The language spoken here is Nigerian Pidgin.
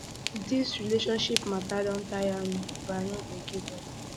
dis um relationship mata don tire me um but i no go um give up